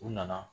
U nana